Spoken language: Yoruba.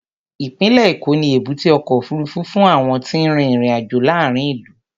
Ìpínlẹ̀ Èkó ní èbúté ọkọ̀ òfuurufú fún àwọn tí ń rin ìrìn-àjò láàárín ìlú.